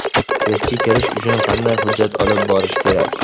Testga kirish uchun qanday hujjat olib borish kerak?.